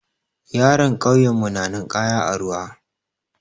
Yaran ƙauyen mu na ninƙaya a ruwa.